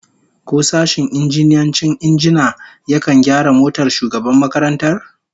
Ko sashen injiniyancin injina yakan gyara motar shugaban makarantar?